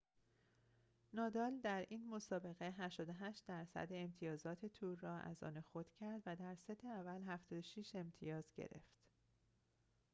نادال در این مسابقه 88٪ امتیازات تور را از آن خود کرد و در ست اول، 76 امتیاز گرفت